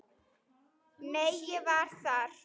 Nei, ég var þar